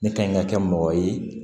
Ne ka ɲi ka kɛ mɔgɔ ye